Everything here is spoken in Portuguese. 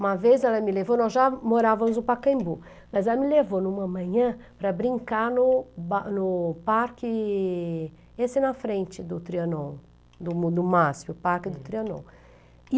Uma vez ela me levou, nós já morávamos no Pacaembu, mas ela me levou em uma manhã para brincar no no parque, esse na frente do Trianon, do Máspio, o parque do Trianon.